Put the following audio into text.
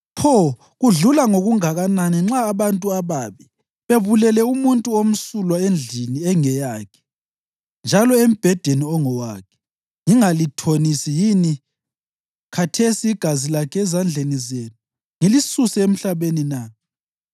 Pho kudlula ngokungakanani nxa abantu ababi bebulele umuntu omsulwa endlini engeyakhe njalo embhedeni ongowakhe, ngingalithonisi yini khathesi igazi lakhe ezandleni zenu ngilisuse emhlabeni na!”